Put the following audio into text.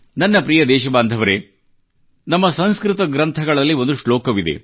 ನನ್ನ ಪ್ರಿಯ ದೇಶಬಾಂಧವರೆ ನಮ್ಮ ಸಂಸ್ಕೃತ ಗ್ರಂಥಗಳಲ್ಲಿ ಒಂದು ಶ್ಲೋಕವಿದೆ